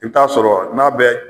I bi t'a sɔrɔ n'a bɛ.